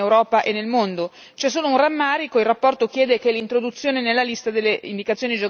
un rammarico, la relazione chiede che l'introduzione nella lista delle indicazioni geografiche protette sia fatta a pagamento.